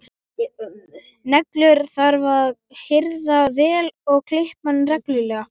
Neglur þarf að hirða vel og klippa reglulega.